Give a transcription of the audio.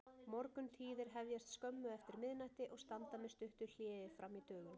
Morguntíðir hefjast skömmu eftir miðnætti og standa með stuttu hléi frammí dögun.